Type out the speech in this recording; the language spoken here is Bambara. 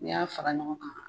N'i y'a fara ɲɔgɔn kan